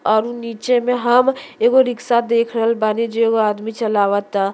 और उ नीचे में हम एगो रिक्शा देख रहल बानी जे उ आदमी चलावता।